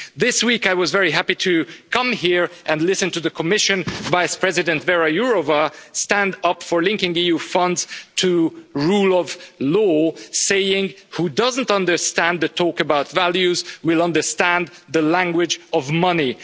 This week I was very happy to come here and listen to the Commission Vice President Věra Jourová stand up for linking EU funds to rule of law, saying who doesn't understand the talk about values will understand the language of money.